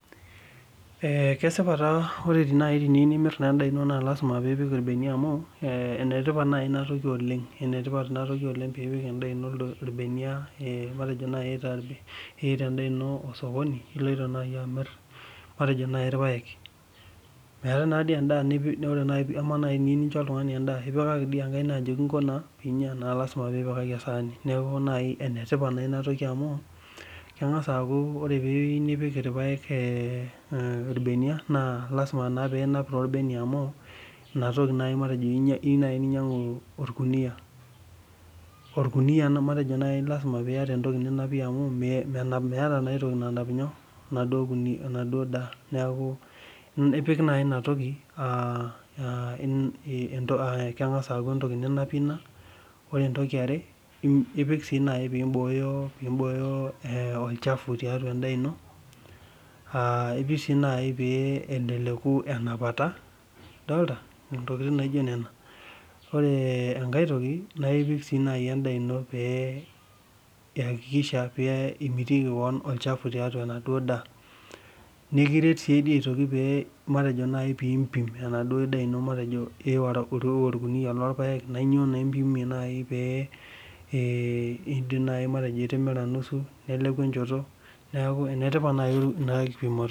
Ee Kesipa taa ore naai niyieu nimirr endaa ino naa lazima piipik irbeniaa amuu, ee enetipat naii ina toki oleng, enetipat piipik endaa ino irbeniaa matejo naaii, iita endaa ino osokoni iloito naaji amirr matejo naaii irpaek, meetae nadii najii endaa, ama niyieu naaji nisho oltungani endaa ipikaki dii okaik ajoki inko naa enaa lazima pipikaki esahani, neeku enetipat oleng ena toki amu kengaz aaku ore piyieu nipik irpaek irbeniaa naa lazima piinap toolbenia amuu ina toki naaji iyieu naaji ainyang'u orkunia naa matejo naaii lazima piata entoki ninapie amu meeta naa aitoki nanap inyoo, enaduoo daa neeku ipik naaji ina toki aa ii aa keeku naaji rlentoki ninapie ina ore entoki ya are na ipik naaji piiboyo olchafu tiatua endaa ino aaa ipik sii naaji pee elelek enapata idolita ntokitin naijo neno, ore enkae toki naa ipik naaii endaa ino piiyakikisha imitiki olshafu tiatua enaduoo daa nikiret sii duoo aitoki pee matejo naaji piipim enaduoo daa ino, matejo iiwa orkunia loorrpaek naa inyoo naaii ipimie pipim naji ajo itimira nusu, neleku enchoto, neeku enetipat naai ena kulipimoto.